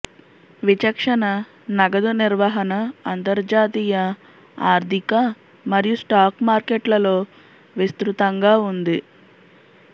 విచక్షణ నగదు నిర్వహణ అంతర్జాతీయ ఆర్థిక మరియు స్టాక్ మార్కెట్లలో విస్తృతంగా ఉంది